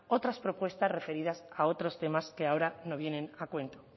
otras propuestas referidas a otros temas que ahora no vienen a cuento